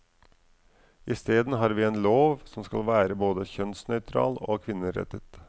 Isteden har vi en lov som skal være både kjønnsnøytral og kvinnerettet.